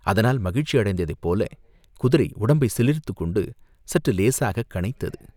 அதனால் மகிழ்ச்சி அடைந்ததைப் போல் குதிரை உடம்பைச் சிலிர்த்துக் கொண்டு சற்று இலேசாகக் கனைத்தது.